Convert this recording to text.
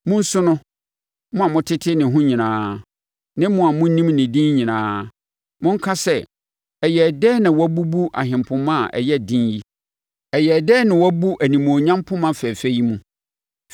Monsu no, mo a motete ne ho nyinaa, ne mo a monim ne din nyinaa; monka sɛ, ‘Ɛyɛɛ dɛn na wɔabubu ahempoma a ɛyɛ den yi? Ɛyɛɛ dɛn na wɔabu animuonyam poma fɛfɛ yi mu?’